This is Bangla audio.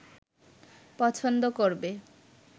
পছন্দ করবে